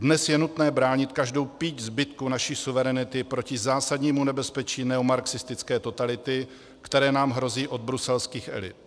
Dnes je nutné bránit každou píď zbytku naší suverenity proti zásadnímu nebezpečí neomarxistické totality, které nám hrozí od bruselských elit.